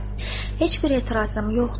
Heç bir etirazım yoxdur.